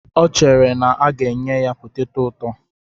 O chere na a ga-enye ya poteto ụtọ.